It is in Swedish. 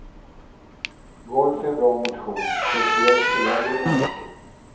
Golf är bra motion, speciellt för äldre människor.